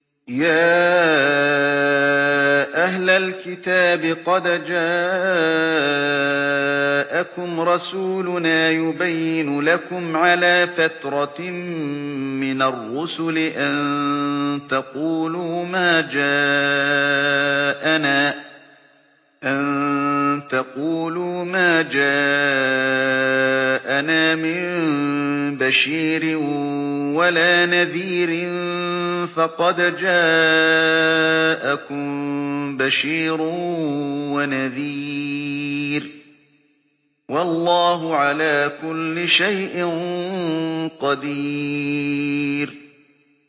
يَا أَهْلَ الْكِتَابِ قَدْ جَاءَكُمْ رَسُولُنَا يُبَيِّنُ لَكُمْ عَلَىٰ فَتْرَةٍ مِّنَ الرُّسُلِ أَن تَقُولُوا مَا جَاءَنَا مِن بَشِيرٍ وَلَا نَذِيرٍ ۖ فَقَدْ جَاءَكُم بَشِيرٌ وَنَذِيرٌ ۗ وَاللَّهُ عَلَىٰ كُلِّ شَيْءٍ قَدِيرٌ